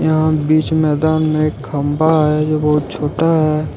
यहां बीच मैदान में एक खंभा है जो बहुत छोटा है।